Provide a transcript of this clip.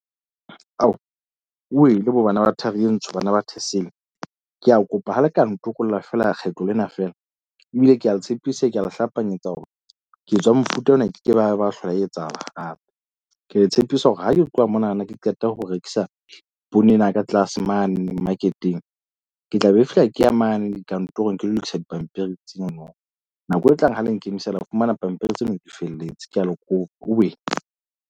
Ao wele bo bana ba thari e ntho, bana ba thesetene. Ke a kopa ha le ka ntokolla fela kgetlo lena feela mme ke a le tshepisa. Ke a le hlapanyetsa hore ketso ya mofuta ona ke ke ba ba hlola e etsahala hape. Ke tshepisa hore ha ke tloha mona na ke qeta ho rekisa poone ena ka tlase mane market-eng. Ke tla be fihla ke ya mane dikantorong, ke lo lokisa dipampiri tseno no. Nako e tlang ha le nkemisa le tla fumana pampiri tseno di felletse. Ke a le kopa .